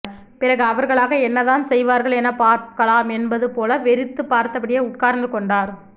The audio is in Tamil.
பிறகு அவர்களாக என்ன தான் செயவார்கள் எனப் பார்க்கலாம் என்பது போல வெறித்துப் பார்த்தபடியே உட்கார்ந்து கொண்டார்